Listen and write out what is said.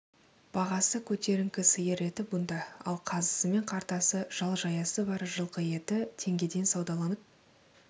бағасы көтеріңкі сиыр еті бұнда ал қазысымен қартасы жал жаясы бар жылқы еті теңгеден саудаланып